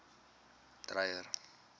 dreyer